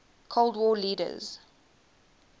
cold war leaders